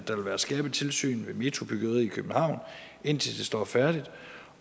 der vil være skærpet tilsyn ved metrobyggeriet i københavn indtil det står færdigt